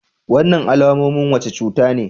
Wannan alamomin wace cuta ne?